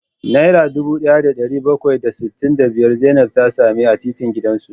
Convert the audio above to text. Naira dubu daya da dari bakwai da sittin da biyar Zainab ta same ta a titin gidanta